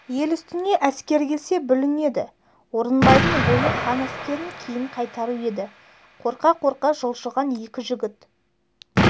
ел үстіне әскер келсе бүлінеді орынбайдың ойы хан әскерін кейін қайтару еді қорқа-қорқа жылжыған екі жігіт